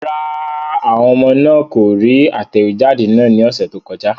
Rárá, àwọn ọmọ náà kò rí atẹ̀wéjáde náà ní ọ̀sẹ̀ tó kọjá.